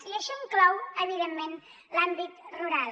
i això inclou evidentment l’àmbit rural